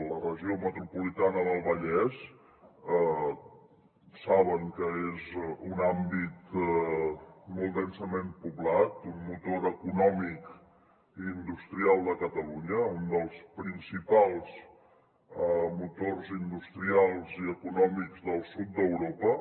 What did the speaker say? la regió metropolitana del vallès saben que és un àmbit molt densament poblat un motor econòmic i industrial de catalunya un dels principals motors industrials i econòmics del sud d’europa